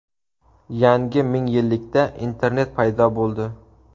Yangi mingyillikda internet paydo bo‘ldi.